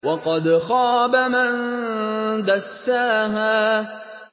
وَقَدْ خَابَ مَن دَسَّاهَا